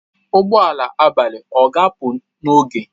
Ụgbọ ala abalị ọ ga-apụ n'oge?